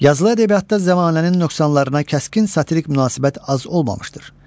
Yazılı ədəbiyyatda zəmanənin nöqsanlarına kəskin satirik münasibət az olmamışdır.